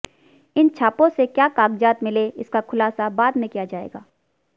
इन छापों से क्या कागजात मिले इसका खुलासा बाद में किया जाएगा